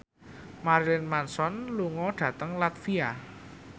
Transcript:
Marilyn Manson lunga dhateng latvia